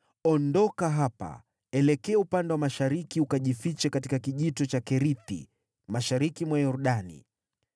“Ondoka hapa, elekea upande wa mashariki ukajifiche katika Kijito cha Kerithi, mashariki mwa Yordani.